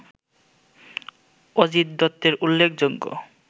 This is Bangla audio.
অজিত দত্তের উল্লেখযোগ্য